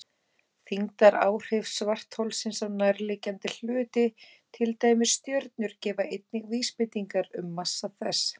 Þyngdaráhrif svartholsins á nærliggjandi hluti, til dæmis stjörnur, gefa einnig vísbendingar um massa þess.